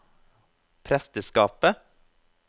presteskapet